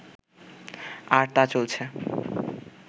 আর তা চলছে